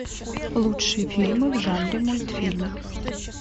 лучшие фильмы в жанре мультфильм